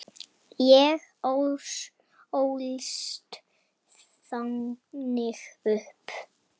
Ég ólst þannig upp.